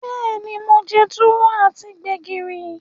Beeni, mo je Tuwo ati Gbẹ̀gìrì.